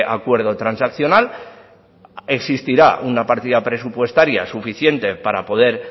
acuerdo transaccional existirá una partida presupuestaria suficiente para poder